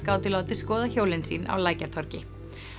gátu látið skoða hjólin sín á Lækjartorgi